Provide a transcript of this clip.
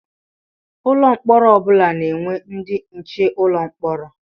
Ụlọ mkpọrọ ọ bụla na-enwe ndị nche ụlọ mkpọrọ.